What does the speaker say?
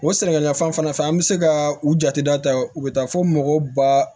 O sɛnɛkɛɲɔgɔn fan fɛ an bɛ se ka u jate da ta u bɛ taa fo mɔgɔ ba